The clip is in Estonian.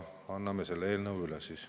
Annan selle eelnõu üle.